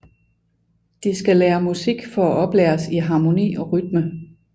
De skal lære musik for at oplæres i harmoni og rytme